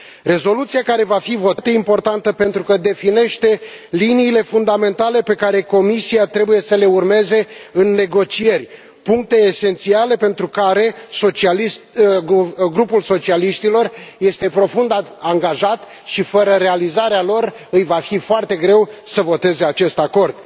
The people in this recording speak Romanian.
Rezoluția care va fi votată este foarte importantă pentru că definește liniile fundamentale pe care Comisia trebuie să le urmeze în negocieri, puncte esențiale pentru care Grupul socialiștilor este profund angajat și fără realizarea cărora îi va fi foarte greu să voteze acest acord.